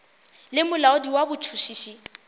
le molaodi wa botšhotšhisi bja